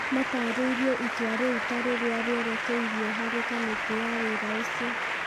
matarĩirie itua rĩu ta rĩrĩa rĩerĩkeirio harĩ kamĩtĩ ya wĩra ũcio.